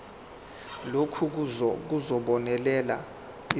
lokhu kuzobonelela izidingo